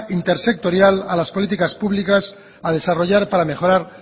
intersectorial a las políticas públicas a desarrollar y para mejorar